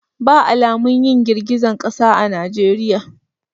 Ba alamun yin girgizan kasa a najeriya.